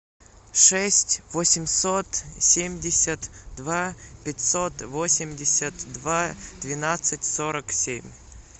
шесть восемьсот семьдесят два пятьсот восемьдесят два двенадцать сорок семь